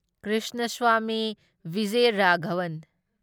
Krishnaswamy Vijayaraghavan